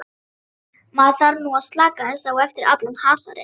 Maður þarf nú að slaka aðeins á eftir allan hasarinn.